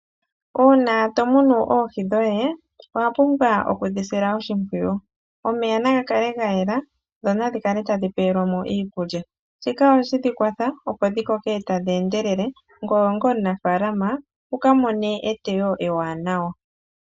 Uuna to munu oohi dhoye, owa pumbwa oku dhi sila oshimpwiyu. Omeya naga kale ga yela, dho nadhi kale tadhi pewelwa mo iikulya. Shika ohashi dhi kwatha opo dhi koke tadhi endelele, ngoye onga omunafaalama wuka mone eteyo ewanawa.